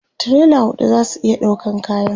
tirela huɗu zasu iya ɗaukan kayan